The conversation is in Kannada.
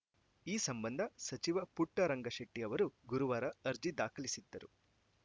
ಈ ಸಂಬಂಧ ಸಚಿವ ಪುಟ್ಟರಂಗಶೆಟ್ಟಿಅವರು ಗುರುವಾರ ಅರ್ಜಿ ದಾಖಲಿಸಿದ್ದರು